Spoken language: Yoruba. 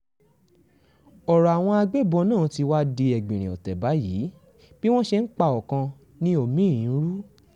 ọ̀rọ̀ àwọn agbébọ́n náà tí wàá di ẹgbìnrin ọ̀tẹ̀ báyìí bí wọ́n ṣe ń pa ọkàn ni omi-ín ń rú